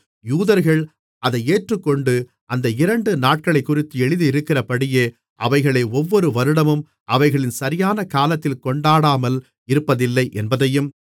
யூதர்கள் அதை ஏற்றுக்கொண்டு அந்த இரண்டு நாட்களைக்குறித்து எழுதியிருக்கிறபடியே அவைகளை ஒவ்வொரு வருடமும் அவைகளின் சரியான காலத்தில் கொண்டாடாமல் இருப்பதில்லை என்பதையும்